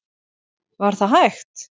Var það hægt?